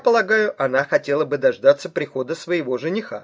полагаю она хотела бы дождаться прихода своего жениха